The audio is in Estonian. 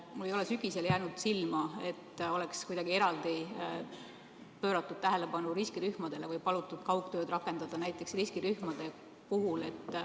Mulle ei ole sügisel silma jäänud, et oleks kuidagi eraldi pööratud tähelepanu riskirühmadele või palutud kaugtööd rakendada eelkõige riskirühmade puhul.